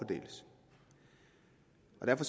være på